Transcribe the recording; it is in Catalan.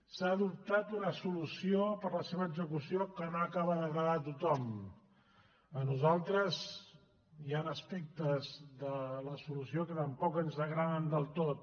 s’ha adoptat una solució per a la seva execució que no acaba d’agradar a tothom a nosaltres hi han aspectes de la solució que tampoc ens agraden el tot